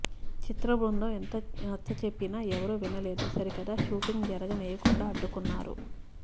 చిత్ర బృందం ఎంత నచ్చ చెప్పినా ఎవరు వినలేదు సరికదా షూటింగ్ జరగనీయకుండా అడ్డుకున్నారు